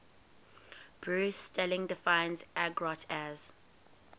bruce sterling defines argot as